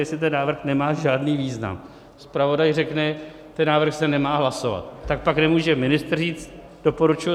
Jestli ten návrh nemá žádný význam, zpravodaj řekne, ten návrh se nemá hlasovat, tak pak nemůže ministr říct doporučuji.